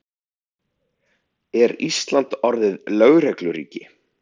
Er Ísland orðið lögregluríki?